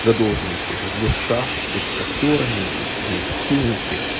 задолженность этих гос шахт перед шахтёрами их неэффективности